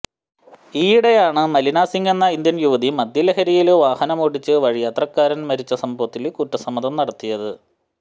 ഈയ്യിടെയാണ് മലിനസിംഗ് എന്ന ഇന്ത്യന് യുവതി മദ്യലഹരിയില് വാഹനമോടിച്ച് വഴിയാത്രക്കാരന് മരിച്ച സംഭവത്തില് കുറ്റസമ്മതം നടത്തിയത്